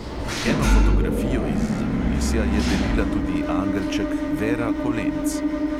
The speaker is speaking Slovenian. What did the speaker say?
Eno fotografijo iz zakulisja je delila tudi angelček vera kolenc.